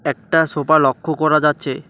একটা সোপা লক্ষ করা যাচ্ছে।